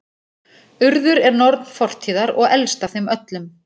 Urður er norn fortíðar og elst af þeim öllum.